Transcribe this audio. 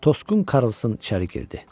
Toskun Karlson içəri girdi.